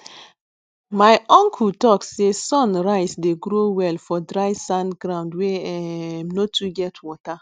my uncle talk say sun rice dey grow well for dry sand ground wey um no too get water